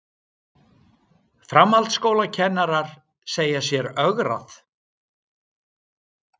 Framhaldsskólakennarar segja sér ögrað